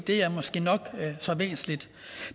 er måske nok så væsentligt